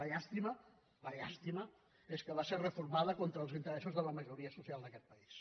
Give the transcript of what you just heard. la llàstima la llàstima és que va ser reformada contra els interessos de la majoria social d’aquest país